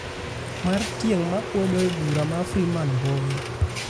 mar tieng' ma kwedo e bura ma Freeman Mbowe